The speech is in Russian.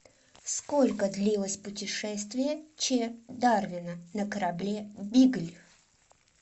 сколько длилось путешествие ч дарвина на корабле бигль